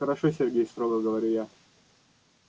хорошо сергей строго говорю я